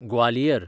Gwalior